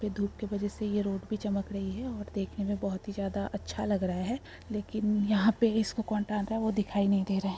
धूप के वजह से यह रोड भी चमक रही है और देखने मे बोहोत ही ज्यादा अच्छा लग रहा है लेकिन यहाँ पे इसको कौन टांगा वो दिखाई नहीं दे रहा है।